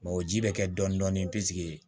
o ji bɛ kɛ dɔɔnin dɔɔnin pikiri